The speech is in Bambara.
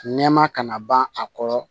Nɛma kana ban a kɔrɔ